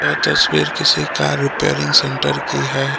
तस्वीर किसी car repairing centre की है।